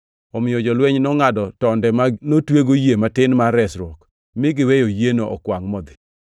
Omiyo jolweny nongʼado tonde ma notwego yie matin mar resruok, mi giweyo yieno okwangʼ modhi.